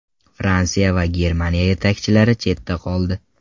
Fransiya va Germaniya yetakchilari chetda qoldi.